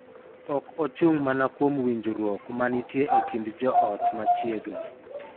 Ok ochung� mana kuom winjruok ma nitie e kind joot ma machiegni;